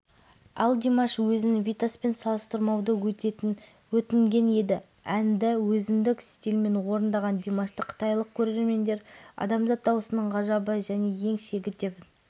бүгін кешқұрым қытайдың чаңша қаласында өтіп жатқан ән байқауының екінші кезеңі эфирге шықты айта кетерлігі қытайда